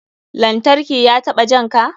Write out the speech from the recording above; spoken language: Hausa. Lantarki ya taɓa janka?